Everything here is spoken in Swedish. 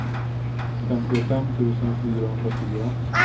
femtiofem tusen fyrahundrafyra